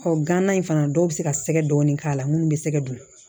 Ɔ gana in fana dɔw bɛ se ka sɛgɛ dɔɔni k'a la minnu bɛ sɛgɛ don